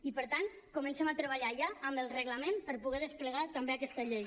i per tant comencem a treballar ja amb el reglament per poder desplegar també aquesta llei